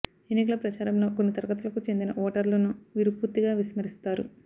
ఎన్నికల ప్రచారంలో కొన్ని తరగతులకు చెందిన ఓటర్లును వీరు పూర్తిగా విస్మరిస్తారు